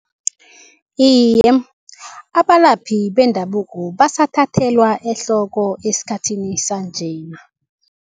Iye, abalaphi bendabuko basathathelwa ehloko esikhathini sanjena.